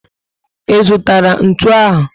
I zụtara ntụ ahụ?